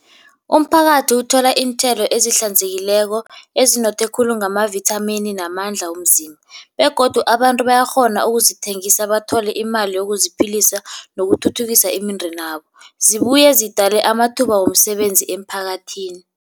Umphakathi uthola iinthelo ezihlanzekileko, ezinothe khulu ngamavithamini namandla womzimba. Begodu abantu bayakghona ukuzithengisa bathole imali yokuziphilisa nokuthuthukisa imindenabo, zibuye zidale amathuba womsebenzi emphakathini.